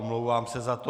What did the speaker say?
Omlouvám se za to.